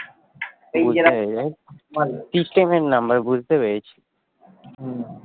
বুঝতে পেরেছি